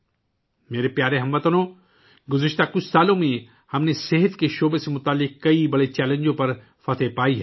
میرے پیارے ہم وطنوں، پچھلے کچھ سالوں میں ہم نے صحت کے شعبے سے متعلق کئی بڑے چیلنجوں پر قابو پایا ہے